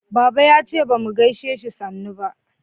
baba ya ce bamu gaishe shi sannu ba